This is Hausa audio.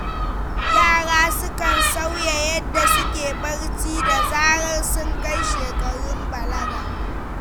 Yara sukan sauya yadda suke barci da zarar sun kai shekarun balaga.